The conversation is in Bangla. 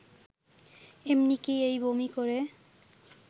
এমনকি এই বমি করে